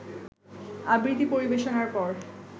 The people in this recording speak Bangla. আবৃত্তি পরিবেশনার পর